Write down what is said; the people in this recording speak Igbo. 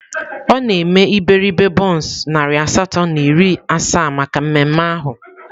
Ọ na-eme iberibe bọns narị asatọ na iri asaa maka mmemme ahụ.